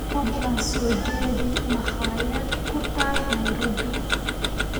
fadlan soo jeedi makhaayad ku taal nairobi